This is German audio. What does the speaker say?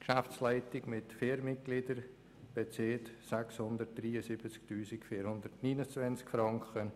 Die Geschäftsleitung mit vier Mitgliedern bezieht 673 429 Franken.